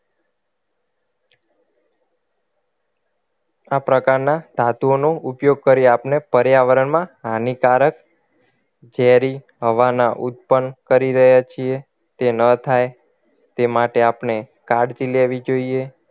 આ પ્રકારના ધાતુઓનો ઉપયોગ કરી આપણે પર્યાવરણના હાનિકારક ઝેરી હવાનો ઉત્પન્ન કરી રહ્યા છીએ તે ન થાય આપણે કાળજી લેવી જોઈએ